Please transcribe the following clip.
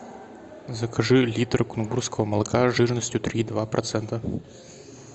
закажи литр кунгурского молока жирностью три и два процента